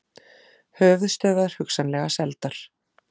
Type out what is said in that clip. Höfuðstöðvar hugsanlega seldar